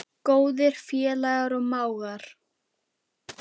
Góðir félagar og mágar.